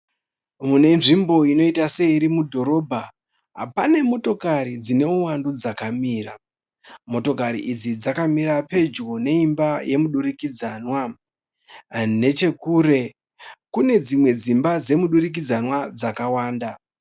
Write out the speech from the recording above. Munenzvimbo inoita seiri mudhorobha, pane motokari dzineuwandu dzakamira. Motokari idzi dzakamira pedyo neimba yemudurikidzanwa. Nechekure kune dzimwe dzimba dzemudurikidzanwa dzakawanda.